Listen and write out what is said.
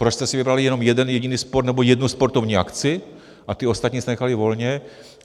Proč jste si vybrali jenom jeden jediný sport nebo jednu sportovní akci a ty ostatní jste nechali volně?